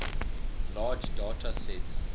large data sets